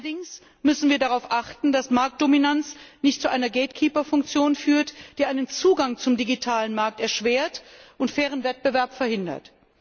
Allerdings müssen wir darauf achten, dass Marktdominanz nicht zu einer Gatekeeper Funktion führt, die den Zugang zum digitalen Markt erschwert und fairen Wettbewerb verhindert.